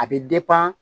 A bɛ